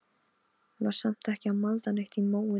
Var samt ekki að malda neitt í móinn.